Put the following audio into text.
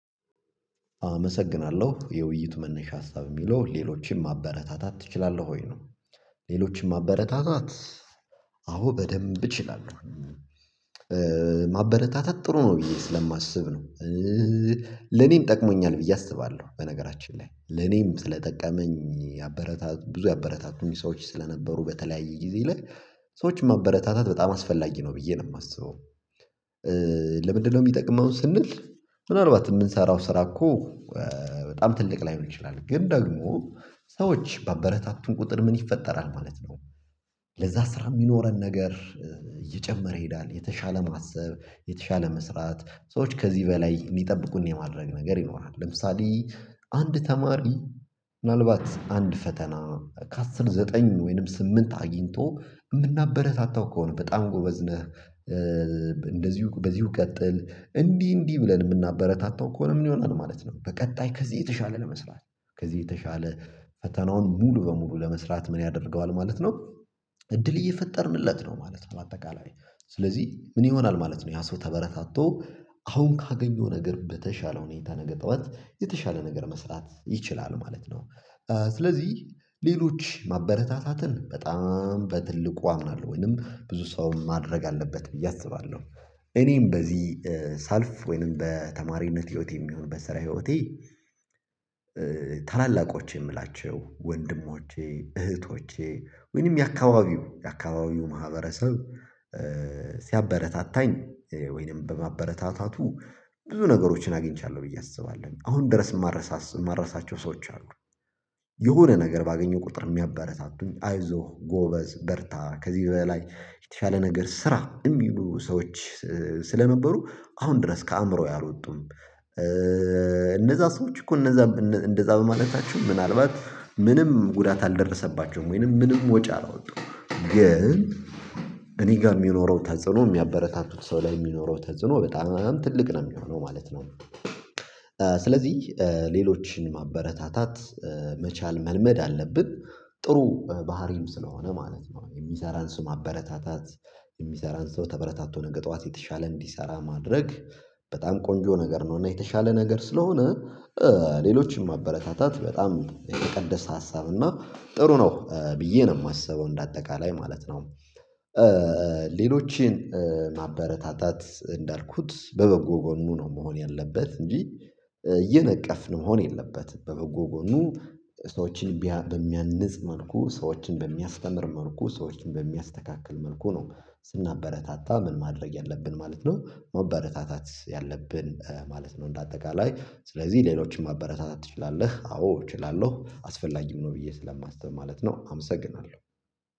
አመሰግናለሁ የውይይት መነሻ ሀሳብ የሚለው ሌሎችንም ማበረታታት ትችላለህ ወይ ነው? ሌሎችንም ማበረታታት አዎ በደንብ እችላለሁ። ማበረታታት ጥሩ ነው ብዬ ስለማስብ ነው። ለኔም ጠቅሞኛል ብዬ አስባለሁ በነገራችን ላይ ለኔም ስለጠቀመኝ ያበረታቱኝ ሰዎች ስለነበሩ በተለያየ ጊዜ ላይ ሰዎችን ማበረታታት በጣም አስፈላጊ ነው ብዬ ነው የማስበው። ለምንድነው የሚጠቅመውን ስንል ምናልባት የምንሰራው ስራ እኮ በጣም ትልቅ ላይሆን ይችላል ግን ደግሞ ሰዎች በአበረታቱን ቁጥር ምን ይፈጠራል ማለት ነው። ለዛ ስራ የሚኖረን ነገር እየጨመረ ይሄዳል የተሻለ ማሰብ የተሻለ መስራት ሰዎች ከዚህ በላይ የሚጠብቁን የማድረግ ነገር ይኖራል ለምሳሌ አንድ ተማሪ ምናልባት አንድ ፈተና ከአስር ዘጠኝ ወይንም ስምንት አግኝቶ የምናበረታታው ከሆነ በጣም ጎበዝ ነህ። እንደዚሁ በዚሁ ቀጥል እንዲህ እንዲህ ብለን የምናበረታታው ከሆነ ምን ይሆናል ማለት ነው። በቀጣይ ከዚህ የተሻለ ለመስራት ከዚህ የተሻለ ፈተናውን ሙሉ በሙሉ ለመስራት ምን ያደርገዋል ማለት ነው። እድል እየፈጠርንለት ነው ማለት ነው በአጠቃላይ ስለዚህ ምን ይሆናል ማለት ነው ያ ሰው ተበረታቶ አሁን ካገኘው ነገር በተሻለ ሁኔታ ነገጣዋት የተሻለ ነገር መስራት ይችላል ማለት ነው። ስለዚህ ሌሎች ማበረታታትን በጣም በትልቁ አምናለሁ ወይንም ብዙ ሰው ማድረግ አለበት ብዬ አስባለሁ። እኔም በዚህ ሳልፍ ወይንም በተማሪነት ህይወት የሚሆንበት ስራ ህይወቴ ታላላቆቼ የምላቸው ወንድሞቼ እህቶቼ ወይንም የአካባቢው የአካባቢው ማህበረሰብ ሲያበረታታኝ ወይንም በማበረታታቱ ብዙ ነገሮችን አግኝቻለሁ ብዬ አስባለሁ አሁን ድረስ የማረሳቸው ሰዎች አሉ። የሆነ ነገር ባገኘው ቁጥር የሚያበረታቱኝ አይዞህ ጎበዝ በርታ ከዚህ በላይ የተሻለ ነገር ስራ የሚሉ ሰዎች ስለነበሩ አሁን ድረስ ከአእምሮዬ አልወጡም። እነዛ ሰዎች እኮ እነዛ እንደዛ በማለታችሁ ምናልባት ምንም ጉዳት አልደረሰባችሁም ወይንም ምንም ወጪ አላወጣውም ግን እኔ ጋር የሚኖረው ተጽዕኖ የሚያበረታቱት ሰው ላይ የሚኖረው ተጽዕኖ በጣም ትልቅ ነው የሚሆነው ማለት ነው። ስለዚህ ሌሎችን ማበረታታት መቻል መልመድ አለብን። ጥሩ ባህሪም ስለሆነ ማለት ነው የሚሰራን ስም አበረታታት የሚሰራን ተበረታቶ ነገር ጠዋት የተሻለ እንዲሰራ ማድረግ በጣም ቆንጆ ነገር ነው እና የተሻለ ነገር ስለሆነ ሌሎችም ማበረታታት በጣም የተቀደሰ ሀሳብ እና ጥሩ ነው ብዬ ነው የማስበው እንደ አጠቃላይ ማለት ነው። ሌሎችን ማበረታታት እንዳልኩት በበጎ ጎኑ ነው መሆን ያለበት እንጂ እየነቀፍን መሆን የለበትም በበጎ ጎኑ ሰዎችን በሚያንጽ መልኩ ሰዎችን በሚያስተምር መልኩ ሰዎችን በሚያስተካክል መልኩ ነው። ስናበረታታ ምን ማድረግ ያለብን ማለት ነው መበረታታት ያለብን ማለት ነው። እንደ አጠቃላይ ስለዚህ ሌሎችንም ማበረታታት ትችላለህ አዎ እችላለሁ አስፈላጊም ነው ብዬ ስለማስብ ማለት ነው። አመሰግናለሁ